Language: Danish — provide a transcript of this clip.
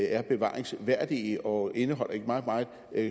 er bevaringsværdige og indeholder et meget meget